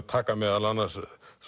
taka meðal annars